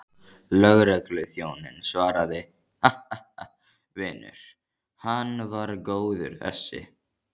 Lögregluþjónninn svaraði, Ha, ha, vinur, hann var góður þessi.